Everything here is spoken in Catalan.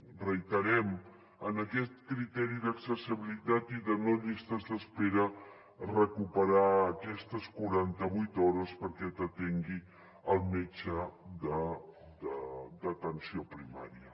ho reiterem en aquest criteri d’accessibilitat i de no llistes d’espera recuperar aquestes quaranta vuit hores perquè t’atengui el metge d’atenció primària